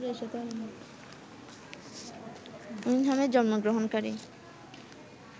উইংহ্যামে জন্মগ্রহণকারী